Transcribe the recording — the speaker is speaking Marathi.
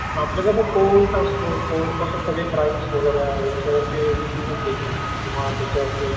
आपलं कसं कोर्ट असतो कोर्ट सगळं क्राईम वगैरा याच्यावरती डिसीजन देतो, किंवा त्याच्यावरती एक